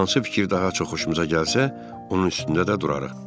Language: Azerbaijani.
Hansı fikir daha çox xoşumuza gəlsə, onun üstündə də durarıq.